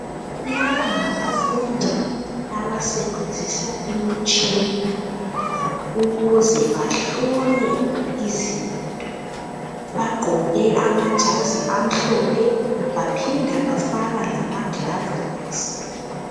Laba ngabafundi abasebenzisa imitshina ukuze bahlole izinto. Baqoke amajazi amhlophe baphinda bafaka lama gulavisi.